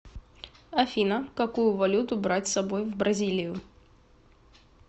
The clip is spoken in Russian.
афина какую валюту брать с собой в бразилию